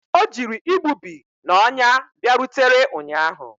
O jiri igbubi na ọnya bịarutere ụnyahụ